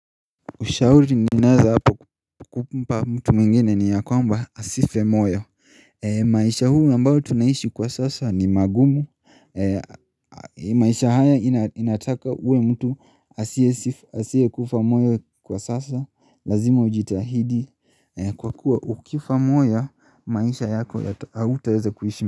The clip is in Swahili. Ushauri ninaeza hapa kumpa mtu mwingine ni ya kwamba asife moyo maisha huu ambayo tunaishi kwa sasa ni magumu maisha haya inataka uwe mtu asiye kufa moyo kwa sasa Lazima ujitahidi kwa kuwa ukifa moyo maisha yako hautaweza kuishi.